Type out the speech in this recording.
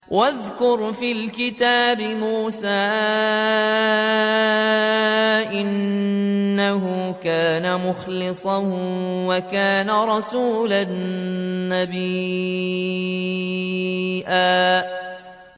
وَاذْكُرْ فِي الْكِتَابِ مُوسَىٰ ۚ إِنَّهُ كَانَ مُخْلَصًا وَكَانَ رَسُولًا نَّبِيًّا